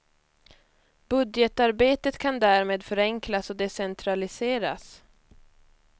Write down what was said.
Budgetarbetet kan därmed förenklas och decentraliseras.